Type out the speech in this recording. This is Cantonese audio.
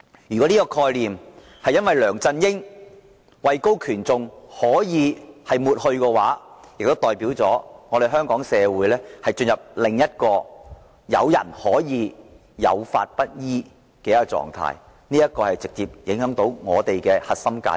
如果這個概念可以因梁振英位高權重而抹去，即代表香港社會進入了有人可以有法不依的狀態，直接損害本港的核心價值。